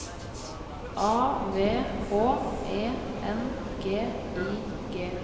A V H E N G I G